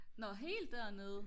nå helt dernede